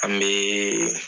Ani